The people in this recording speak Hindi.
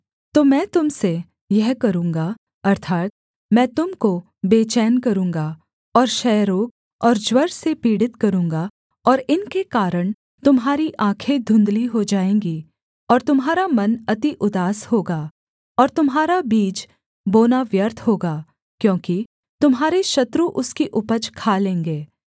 तो मैं तुम से यह करूँगा अर्थात् मैं तुम को बेचैन करूँगा और क्षयरोग और ज्वर से पीड़ित करूँगा और इनके कारण तुम्हारी आँखें धुंधली हो जाएँगी और तुम्हारा मन अति उदास होगा और तुम्हारा बीज बोना व्यर्थ होगा क्योंकि तुम्हारे शत्रु उसकी उपज खा लेंगे